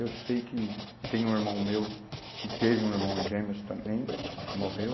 Eu sei que tem um irmão meu que teve um irmão gêmeos também, que morreu.